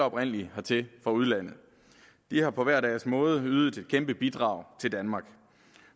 oprindelig alle hertil fra udlandet de har på hver deres måde ydet et kæmpe bidrag til danmark